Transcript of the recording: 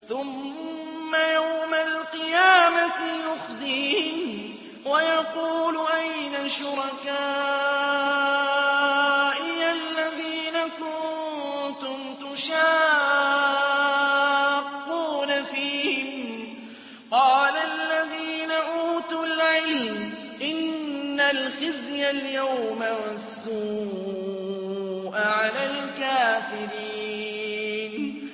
ثُمَّ يَوْمَ الْقِيَامَةِ يُخْزِيهِمْ وَيَقُولُ أَيْنَ شُرَكَائِيَ الَّذِينَ كُنتُمْ تُشَاقُّونَ فِيهِمْ ۚ قَالَ الَّذِينَ أُوتُوا الْعِلْمَ إِنَّ الْخِزْيَ الْيَوْمَ وَالسُّوءَ عَلَى الْكَافِرِينَ